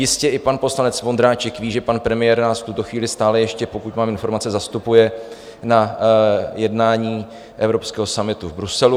Jistě i pan poslanec Vondráček ví, že pan premiér nás v tuto chvíli stále ještě, pokud mám informace, zastupuje na jednání evropského summitu v Bruselu.